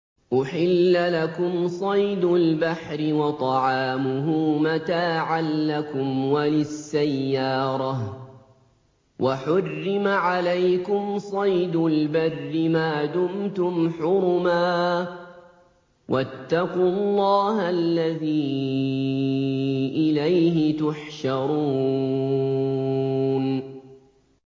أُحِلَّ لَكُمْ صَيْدُ الْبَحْرِ وَطَعَامُهُ مَتَاعًا لَّكُمْ وَلِلسَّيَّارَةِ ۖ وَحُرِّمَ عَلَيْكُمْ صَيْدُ الْبَرِّ مَا دُمْتُمْ حُرُمًا ۗ وَاتَّقُوا اللَّهَ الَّذِي إِلَيْهِ تُحْشَرُونَ